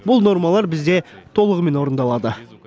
бұл нормалар бізде толығымен орындалады